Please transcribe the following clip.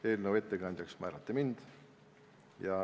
Eelnõu ettekandjaks määrati mind.